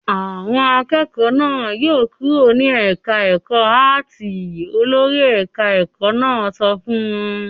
"Àwọn akẹ́kọ̀ọ́ náà yóò kúrò ní ẹ̀ka-ẹ̀kọ́ áátì!" Olórí ẹ̀ka-ẹ̀kọ́ náà sọ fún wọn.